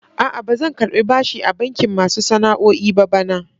A'a, ba zan karɓi bashi a bankin masu sana'o'i ba bana.